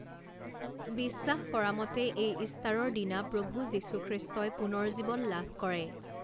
বিশ্বাস কৰা মতে এই ইষ্টাৰৰ দিনা প্ৰভু যীশু খ্ৰীষ্টই পুনৰ্জীৱন লাভ কৰে।